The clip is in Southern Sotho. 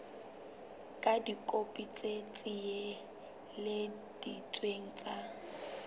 ka dikopi tse tiiseleditsweng tsa